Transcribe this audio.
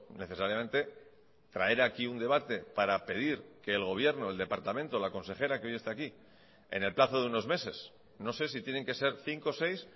necesariamente traer aquí un debate para pedir que el gobierno el departamento la consejera que hoy está aquí en el plazo de unos meses no sé si tienen que ser cinco seis